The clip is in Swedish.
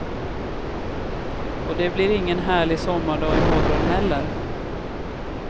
Och det blir ingen härlig sommardag i morgon heller.